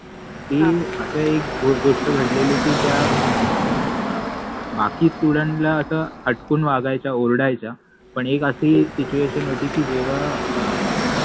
ति अस एक गोष्ट घडलेलि कि त्या बाकि स्टूड्न्ट ला त्या फटकुन वागायच्या ओरडायच्या पन एक अशि सिच्युएशन होति कि जेव्हा